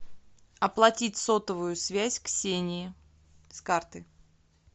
оплатить сотовую связь ксении с карты